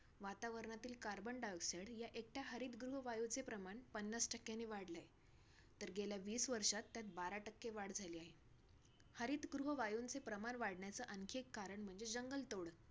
वातावरणातील carbon dioxide ह्या एकट्या हरितगृह वायूचे प्रमाण पन्नास टक्क्याने वाढलंय. तर गेल्या वीस वर्षात त्यात बारा टक्के वाढ झाली आहे. हरितगृह वायूचे प्रमाण वाढण्याचे आणखी एक कारण म्हणजे जंगलतोड.